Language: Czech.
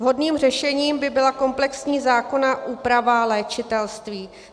Vhodným řešením by byla komplexní zákonná úprava léčitelství.